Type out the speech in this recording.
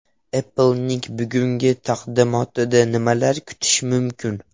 Apple’ning bugungi taqdimotidan nimalar kutish mumkin?.